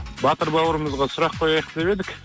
батыр бауырымызға сұрақ қояйық деп едік